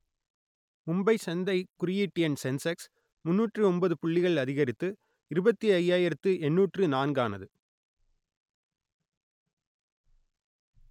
மும்பை சந்தை குறியீட்டு எண் சென்செக்ஸ் முன்னூற்று ஒன்பது புள்ளிகள் அதிகரித்து இருபத்தி ஐயாயிரத்து எண்ணூற்று நான்கானது